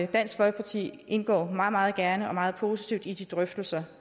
dansk folkeparti indgår meget meget gerne og meget positivt i de drøftelser